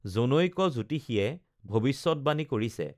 জনৈক জ্যোতিষীয়ে ভৱিষ্যতবাণী কৰিছে